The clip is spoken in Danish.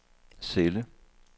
celle